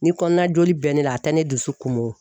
Ni kɔnɔnajoli bɛ ne la a tɛ ne dusu kumun o.